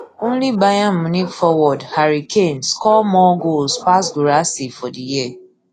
only bayern munich forward harry kane score more goals pass guirassy for di year